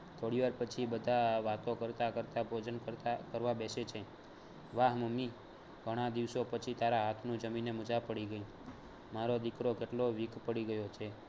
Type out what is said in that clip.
થોડી વાર પછી વાતો બધા કરતા કરતા ભોજન કરતા કરવા બેસે છે. વાહ મમ્મી ઘણા દિવસો પછી તારા હાથનું જમીને મજા પડી ગઈ મારો દિકરો કેટલો weak પડી ગયો છે.